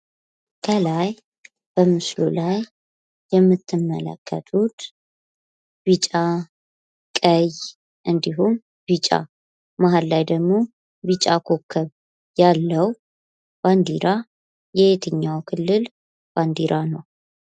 በምስሉ ላይ የምንመለከተው ቢጫ ፣ቀይ እንዲሁም ቢጫ እና መሀል ላይ ኮከብ ያለው የየትኛው ክልል ባንዲራ ነው?